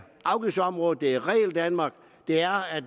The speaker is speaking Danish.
afgiftsområdet det er regeldanmark og det er at